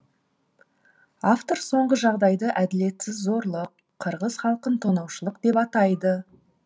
автор соңғы жағдайды әділетсіз зорлық қырғыз халқын тонаушылық деп атайды